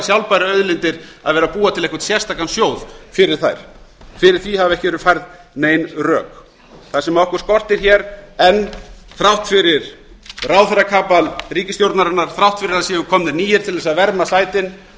sjálfbæru auðlindir að vera að búa til einhvern sérstakan sjóð fyrir þær fyrir því hafa ekki verið færð nein rök það sem okkur skortur enn þrátt fyrir ráðherrakapal ríkisstjórnarinnar þrátt fyrir að það séu komnir nýir til að verma sætin